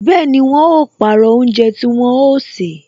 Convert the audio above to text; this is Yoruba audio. Bẹẹni, wọn ó pàrọ̀ oúnjẹ tí wọn ó ṣe